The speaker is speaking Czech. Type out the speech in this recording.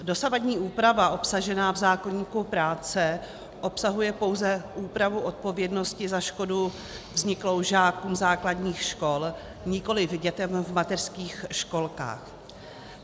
Dosavadní úprava obsažená v zákoníku práce obsahuje pouze úpravu odpovědnosti za škodu vzniklou žákům základních škol, nikoliv dětem v mateřských školkách.